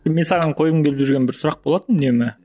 мен саған қойғым келіп жүрген бір сұрақ болатын үнемі